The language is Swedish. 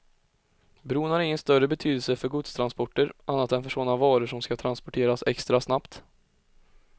Bron har ingen större betydelse för godstransporter, annat än för sådana varor som ska transporteras extra snabbt.